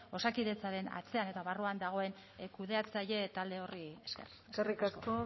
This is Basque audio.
osakidetzaren atzean eta barruan dagoen kudeatzaile talde horri esker eskerrik asko